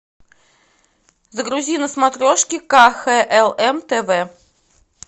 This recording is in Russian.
загрузи на смотрешке кхлм тв